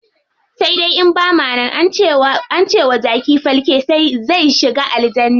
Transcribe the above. Sai dai in bama nan, ance wa jaki falke zai shiga aljanna.